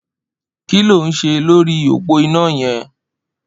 Ki ló n ṣé lóri ópó iná yẹn?